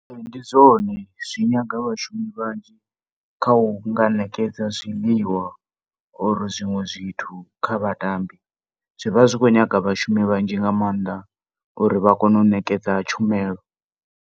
Ndi zwone zwi nyaga vhashumi vhanzhi kha u nha ṋekedza zwiḽiwa or zwiṅwe zwithu kha vhatambi. Zwi vha zwi khou nyaga vhashumi vhanzhi nga maanḓa uri vha kone u ṋekedza tshumelo.